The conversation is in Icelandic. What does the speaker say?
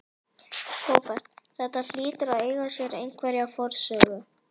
Róbert: Þetta hlýtur að eiga sér einhverja forsögu?